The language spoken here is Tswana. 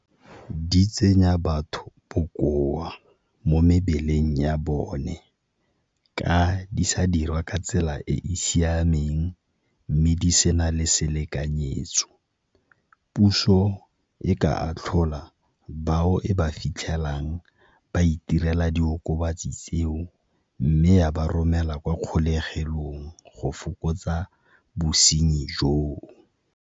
Di tsenya batho bokoa mo mebeleng ya bone, ka di sa dirwa ka tsela e e siameng mme di sena le selekanyetso. Puso e ka atlhola bao e ba fitlhelang ba itirela diokobatsi tseo mme ya ba romela kwa kgolegelong go fokotsa bosenyi joo.